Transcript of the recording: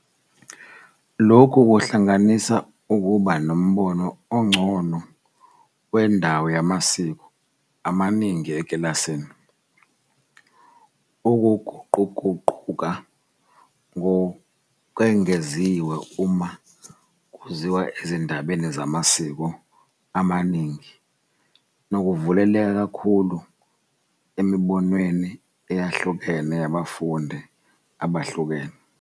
Lokhu kuhlanganisa ukuba nombono ongcono wendawo yamasiko amaningi ekilasini, ukuguquguquka ngokwengeziwe uma kuziwa ezindabeni zamasiko amaningi, nokuvuleleka kakhulu emibonweni eyahlukene yabafundi abahlukene.